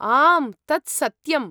आम्, तत् सत्यम्।